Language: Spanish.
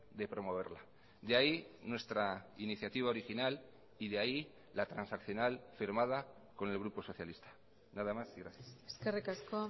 de promoverla de ahí nuestra iniciativa original y de ahí la transaccional firmada con el grupo socialista nada más y gracias eskerrik asko